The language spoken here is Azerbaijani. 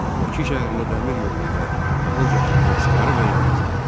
Bakı şəhərinə dəmir yolu ilə taxıl gətirilməsi yarıbayarı azaldı.